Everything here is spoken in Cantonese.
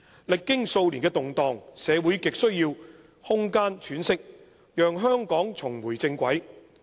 歷經數年的動盪，社會亟需要空間喘息，讓香港重回正軌。